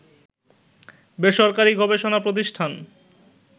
বেসরকারী গবেষণা প্রতিষ্ঠান